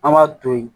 An b'a to yen